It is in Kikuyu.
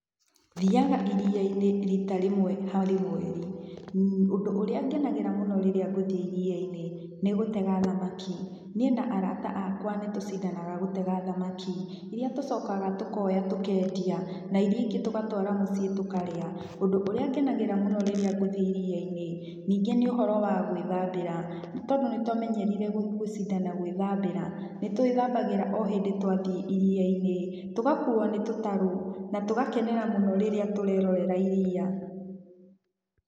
Thiaga iria-inĩ rita rĩmwe harĩ mweri, ũndũ ũrĩa ngenagĩra mũno rĩrĩa ngũthiĩ iriainĩ, nĩ gũtega thamaki. Niĩ na arata akwa nĩ tũcindanaga gũtega thamaki, iria tũcokaga tũkoya tũkendia na iria ingĩ tũgatwara mũciĩ tũkarĩa. Ũndũ ũrĩa ngenagĩra mũno rĩrĩa ngũthiĩ iria-inĩ, ningĩ nĩ ũhoro wa gwĩthambĩra, nĩ tondũ nĩ twamenyerire gũcindana gwĩthambĩra, nĩtwĩthambagĩra o hĩndĩ twathiĩ iria-inĩ, tũgakuuo nĩ tũtarũ, na tũgakenerera mũno rĩrĩa tũrerorera iria.